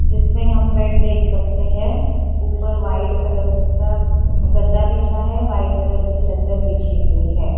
जिसमें हम बेड देख सकते हैं ऊपर वाइट कलर का गद्दा बिछा है वाइट कलर की चद्दर बिछी हुई है।